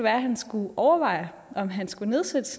at han skulle overveje om han skulle nedsætte